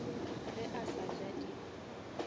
ge a sa ja di